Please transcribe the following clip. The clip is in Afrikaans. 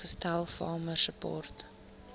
gestel farmer support